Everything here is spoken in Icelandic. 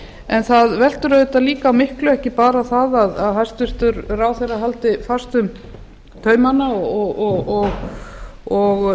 en það veltur auðvitað líka á miklu ekki bara það að hæstvirtur ráðherra haldi fast um taumana og